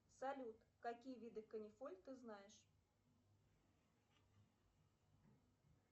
салют какие виды канифоль ты знаешь